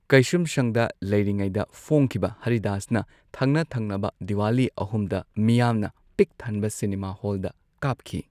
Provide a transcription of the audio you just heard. ꯀꯩꯁꯨꯝꯁꯪꯗ ꯂꯩꯔꯤꯉꯩꯗ ꯐꯣꯡꯈꯤꯕ ꯍꯔꯤꯗꯥꯁꯅ ꯊꯪꯅ ꯊꯪꯅꯕ ꯗꯤꯋꯥꯂꯤ ꯑꯍꯨꯝꯗ ꯃꯤꯌꯥꯝꯅ ꯄꯤꯛꯊꯟꯕ ꯁꯤꯅꯦꯃꯥ ꯍꯣꯜꯗ ꯀꯥꯞꯈꯤ꯫